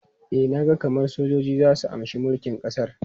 E, na ga kamar sojoji za su amshi mulkin ƙasar.